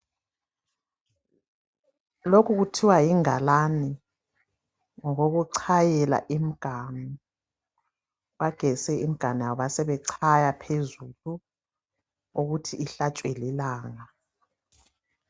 Lokhu kuthiwa yingalane ngokokuchayela imiganu bagezise imiganu yabo basebechaya phezulu ukuthi ihlatshwe lilanga.